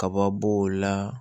Kaba b'o la